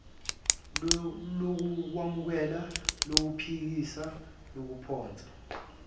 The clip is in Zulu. lokwemukela lokuphikisa lokuphonsa